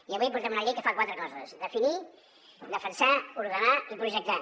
i avui portem una llei que fa quatre coses definir defensar ordenar i projectar